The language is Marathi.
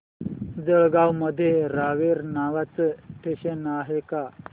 जळगाव मध्ये रावेर नावाचं स्टेशन आहे का